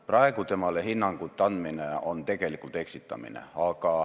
Praegu sellele hinnangu andmine on tegelikult eksitamine.